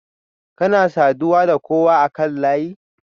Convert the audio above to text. Kuna saduwa da kowa akan layi?